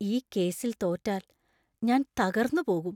ഈ കേസിൽ തോറ്റാൽ ഞാൻ തകർന്നു പോകും.